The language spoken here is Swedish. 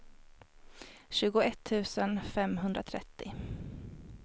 tjugoett tusen femhundratrettio